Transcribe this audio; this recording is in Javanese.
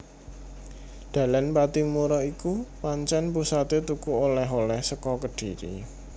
Dalan Pattimura iku pancen pusaté tuku oleh oleh saka Kedhiri